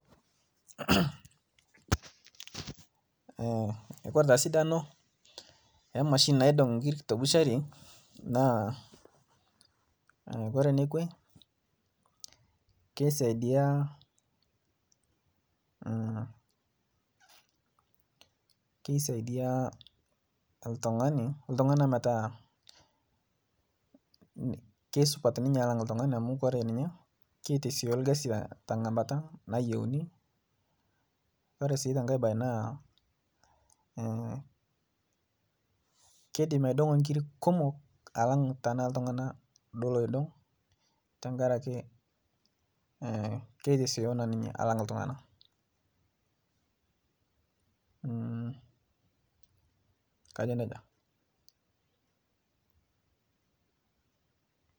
Kore taa sidano emashini naidon' nkirik tebushari, naa koree nekwe keisaidiyaa ,keisaidiya iltungani, ltungana metaa kesupata ninye alang iltungani amu kore ninye keitosioyo ilkasi te ng'amata nayeuni, ore sii te inkae baye naa keidim aidong'o inkiri kumok alang tana iltungana duo loidong' te ngaraki, keitosioyo naa ninye alang ltungana, kajo neja.